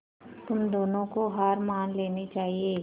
तुम दोनों को हार मान लेनी चाहियें